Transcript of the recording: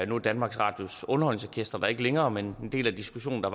nu er danmarks radios underholdningsorkestret der ikke længere men en del af diskussionen da